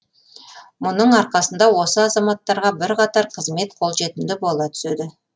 мұның арқасында осы азаматтарға бірқатар қызмет қолжетімді бола түседі